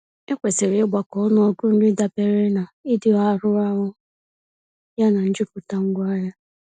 Ekwesịrị ịgbakọ ọnụọgụ nri dabere na ịdị arọ ahụ yana njupụta ngwaahịa.